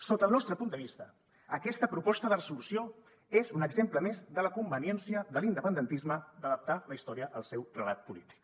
sota el nostre punt de vista aquesta proposta de resolució és un exemple més de la conveniència de l’independentisme d’adaptar la història al seu relat polític